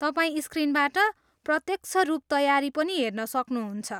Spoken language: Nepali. तपाईँ स्क्रिनबाट प्रत्यक्ष रूप तयारी पनि हेर्न सक्नुहुन्छ।